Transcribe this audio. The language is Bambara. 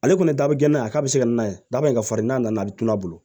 Ale kɔni ye dabila ye a ka se ka n'a ye daba in ka farin n'a nana a tunna